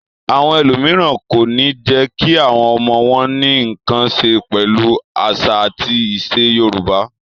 Àwọn ẹlòmíràn kò ní jẹ́ kí àwọn ọmọ wọn ní nǹkan ṣe pẹ̀lú àṣà àti ìṣe Yorùbá.